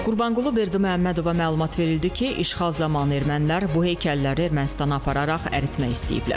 Qurbanqulu Berdiməhəmmədova məlumat verildi ki, işğal zamanı ermənilər bu heykəlləri Ermənistana apararaq əritmək istəyiblər.